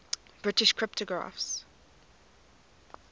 british cryptographers